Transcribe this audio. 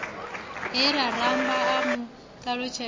he rambo a mu ṱalutshedza